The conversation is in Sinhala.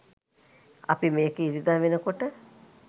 අපි මේක ඉරිදා වෙනකොට